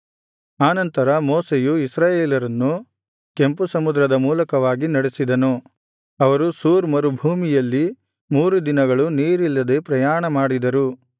ಆನಂತರ ಮೋಶೆಯು ಇಸ್ರಾಯೇಲರನ್ನು ಕೆಂಪುಸಮುದ್ರದ ಮೂಲಕವಾಗಿ ನಡೆಸಿದನು ಅವರು ಶೂರ್ ಮರುಭೂಮಿಯಲ್ಲಿ ಮೂರು ದಿನಗಳು ನೀರಿಲ್ಲದೆ ಪ್ರಯಾಣ ಮಾಡಿದರು